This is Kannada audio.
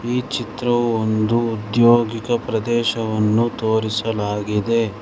ಈ ಚಿತ್ರವು ಒಂದು ಉದ್ಯೋಗಿಕ ಪ್ರದೇಶವನ್ನು ತೋರಿಸಲಾಗಿದೆ.